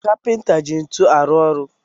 Kapinta ji ntu arụ ọrụ